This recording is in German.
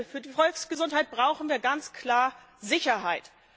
Für die Volksgesundheit brauchen wir ganz klar Sicherheit.